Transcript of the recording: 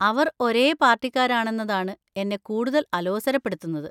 അവർ ഒരേ പാർട്ടിക്കാരാണെന്നതാണ് എന്നെ കൂടുതൽ അലോസരപ്പെടുത്തുന്നത്.